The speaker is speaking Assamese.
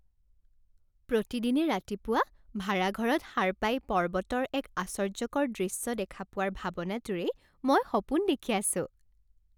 প্ৰতিদিনে ৰাতিপুৱা ভাৰা ঘৰত সাৰ পাই পৰ্বতৰ এক আশ্চৰ্যকৰ দৃশ্য দেখা পোৱাৰ ভাবনাটোৰেই মই সপোন দেখি আছোঁ।